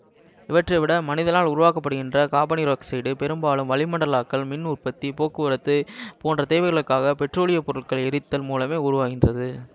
இவற்றை விட மனிதனால் உருவாக்கப்படுகின்ற காபனீரொக்சைட்டு பெரும்பாலும் வளிமுண்டாக்கல் மின் உற்பத்தி போக்குவரத்து போன்ற தேவைகளுக்காகப் பெற்றோலியப் பொருட்களை எரித்தல் மூலமே உருவாகின்றது